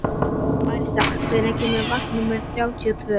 Marísa, hvenær kemur vagn númer þrjátíu og tvö?